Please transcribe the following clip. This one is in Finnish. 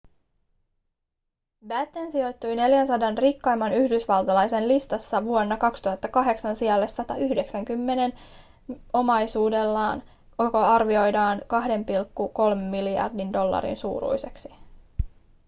batten sijoittui 400 rikkaimman yhdysvaltalaisen listassa vuonna 2008 sijalle 190 omaisuudellaan joka arvioidaan 2,3 miljardin dollarin suuruiseksi